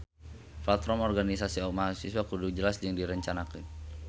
Platform organisasi mahasiswa kudu jelas jeung direncanakeun